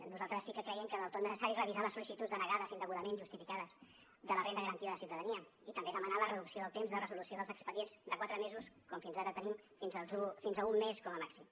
nosaltres sí que creiem que és del tot necessari revisar les sol·licituds denegades indegudament justificades de la renda garantida de ciutadania i també demanar la reducció del temps de resolució dels expedients de quatre mesos com fins ara tenim fins a un mes com a màxim